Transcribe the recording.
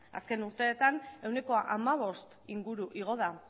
azken urteetan ehuneko hamabost inguru igo da